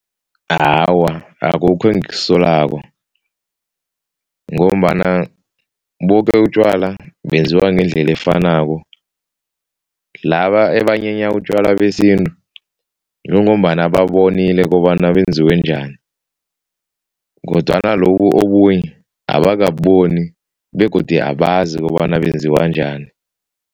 Awa, akukho engikusolako ngombana boke utjwala benziwa ngendlela efanako. Laba abanyenya utjwala isintu yingombana babonile kobana benziwe njani kodwana lobu obunye abakabuboni begodu abazi kobana benziwa njani.